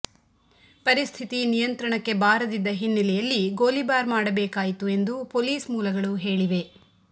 ಪರಿಸ್ಥಿತಿ ನಿಯಂತ್ರಣಕ್ಕೆ ಬಾರದಿದ್ದ ಹಿನ್ನೆಲೆಯಲ್ಲಿ ಗೋಲಿಬಾರ್ ಮಾಡಬೇಕಾಯಿತು ಎಂದು ಪೊಲೀಸ್ ಮೂಲಗಳು ಹೇಳಿವೆ